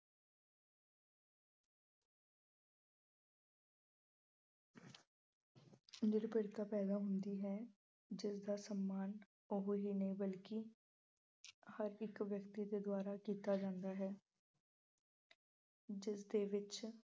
ਨਿਰਭਰਤਾ ਪੈਦਾ ਹੁੰਦੀ ਹੈ ਜਿਸ ਦਾ ਸਨਮਾਨ ਉਹ ਹੀ ਨਹੀਂ ਬਲਕਿ ਹਰ ਇੱਕ ਵਿਅਕਤੀ ਦੇ ਦੁਆਰਾ ਕੀਤਾ ਜਾਂਦਾ ਹੈ। ਜਿਸ ਦੇ ਵਿੱਚ